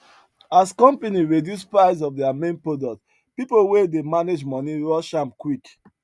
as company reduce price of their main product people wey dey manage money rush am quick